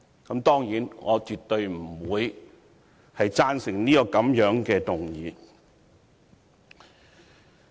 我當然絕對不會贊成這樣的議案。